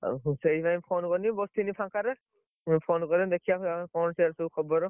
ଆଉ ସେଇ ଲାଗି phone କାଲି ବସଥିଲି ଫାଙ୍କାରେ phone କରେଇ ଦେଖିଆ ସାଡେ କଣ ସବୁ ଖବର